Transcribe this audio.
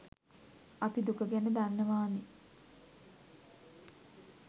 අපි දුක ගැන දන්නවාන